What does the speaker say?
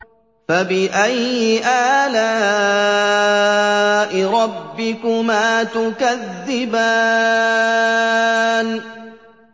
فَبِأَيِّ آلَاءِ رَبِّكُمَا تُكَذِّبَانِ